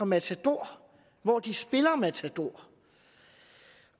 matador hvor de spiller matador